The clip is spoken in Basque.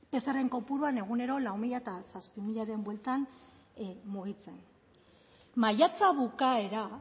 pcrren kopurua egunero lau mila eta zazpi milaren bueltan mugitzen maiatza bukaera